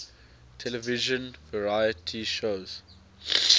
television variety shows